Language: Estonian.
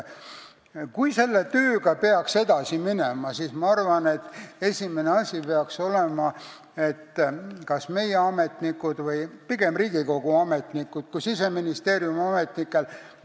Kui selle tööga edasi minna, siis ma arvan, et esimene asi peaks olema meie ametnike – pigem Riigikogu ametnike kui Siseministeeriumi ametnike – arusaama muutus.